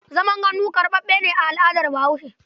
Zaman gandu karɓaɓɓe ne a al'adar Bahaushe.